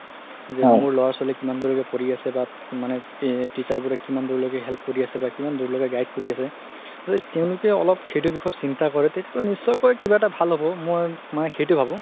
যে মোৰ ল'ৰা ছোৱালি কিমান দুৰলৈকে পঢ়ি আছে বা মানে teacher বোৰে কিমান দুৰ লৈকে help কৰি আছে বা guide কৰি আছে যদি তেওঁলোকে অলপ সেইটো বিষয়ত চিন্তা কৰে তেতিয়া হ'লে নিশ্চয় কিবা এটা ভাল হ'ব মই মানে সেইটো ভাবো